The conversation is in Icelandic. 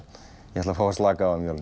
ég ætla að fá að slaka á um jólin